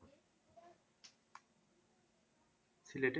সিলেটে